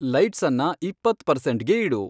ಲೈಟ್ಸನ್ನ ಇಪ್ಪತ್ತ್ ಪರ್ಸೆಂಟ್ಗೆ ಇಡು